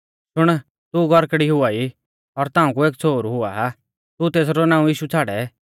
शुण तू गौरकड़ी हुआई और ताऊं कु एक छ़ोहरु हुआ तू तेसरौ नाऊं यीशु छ़ाड़ै